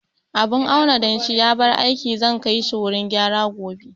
Abun auna danshi ya bar aiki, zan kai shi wurin gyara gobe